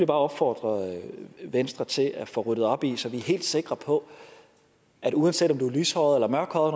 bare opfordre venstre til at få ryddet op i så vi er helt sikre på at uanset om du er lyshåret eller mørkhåret